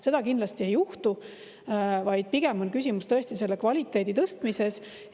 Seda kindlasti ei juhtu, vaid pigem on küsimus selle kvaliteedi tõstmises.